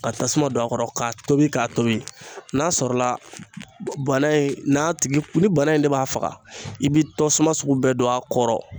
Ka tasuma don a kɔrɔ ka tobi k'a tobi, n'a sɔrɔla bana in n'a tigi ni bana in de b'a faga i bɛ tasuma sugu bɛɛ don a kɔrɔ.